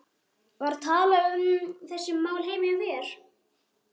Var talað um þessi mál heima hjá þér?